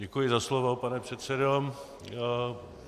Děkuji za slovo, pane předsedo.